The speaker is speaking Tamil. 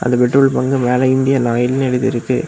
இந்த பெட்ரோல் பங்க் மேல இந்தியன் ஆயில்னு எழுதிருக்கு.